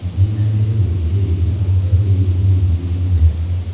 Thiĩ na mbere gũthikĩrĩria ũhoro wĩgiĩ ũthuthuria mwerũ